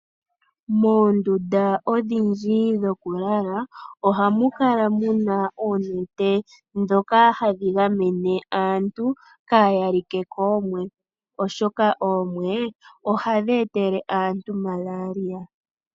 Moondundu odhindji dhoku lala oha mu kala muna oonete dhoka hadhi gamene aantu kaaya like koomwe oshoka oomwe ohadhi etele aantu Malaria.